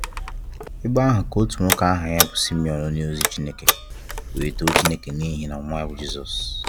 Ebe ahụ ka otu nwoke aha ya bụ Simeon onye ozi Chineke wee too Chineke n'ihi nwa a bụ Jisọs